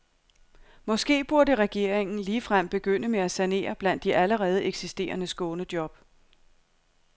Måske burde regeringen ligefrem begynde med at sanere blandt de allerede eksisterende skånejob.